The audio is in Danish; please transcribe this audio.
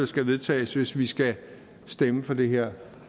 skal vedtages hvis vi skal stemme for det her